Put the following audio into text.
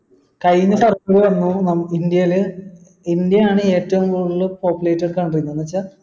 കഴിഞ്ഞ ഇന്ത്യയിൽ ഇന്ത്യയാണ് ഏറ്റവും കൂടുതൽ populated country എന്ന് വെച്ചാൽ